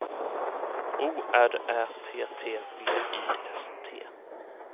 O R Ä T T V I S T